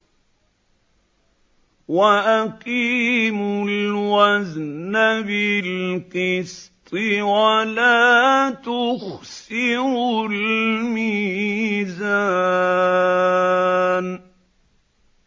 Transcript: وَأَقِيمُوا الْوَزْنَ بِالْقِسْطِ وَلَا تُخْسِرُوا الْمِيزَانَ